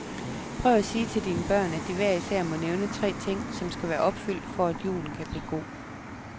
Prøv at sige til dine børn, at de hver især må nævne tre ting, som skal være opfyldt, for at julen kan blive god.